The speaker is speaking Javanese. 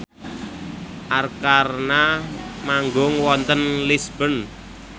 Arkarna manggung wonten Lisburn